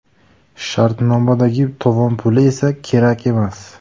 Shartnomadagi tovon puli esa kerak emas.